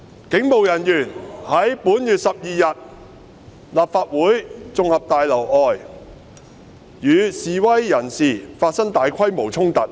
警務人員於本月12日在立法會大樓外與示威人士發生大規模衝突。